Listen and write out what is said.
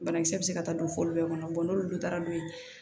Banakisɛ bɛ se ka taa don foyi bɛɛ kɔnɔ n'olu taara n'o ye